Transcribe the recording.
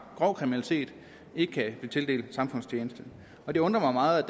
grov kriminalitet ikke kan blive tildelt samfundstjeneste og det undrer mig meget